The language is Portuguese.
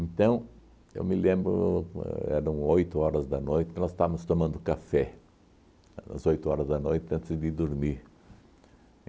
Então, eu me lembro, ãh eram oito horas da noite, que nós estávamos tomando café, às oito horas da noite, antes de dormir.